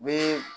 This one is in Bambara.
U bɛ